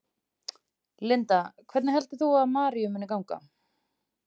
Linda: Hvernig heldur þú að Maríu muni ganga?